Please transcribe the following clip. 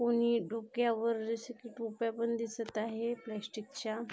कोणी डोक्यावर जसे की टोप्या पण दिसत आहे प्लॅस्टिक च्या --